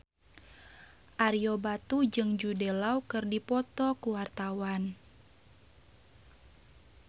Ario Batu jeung Jude Law keur dipoto ku wartawan